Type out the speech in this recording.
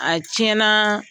A tiɲɛnaa